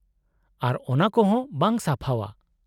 -ᱟᱨ ᱚᱱᱟ ᱠᱚᱦᱚᱸ ᱵᱟᱝ ᱥᱟᱯᱷᱟᱣᱟ ᱾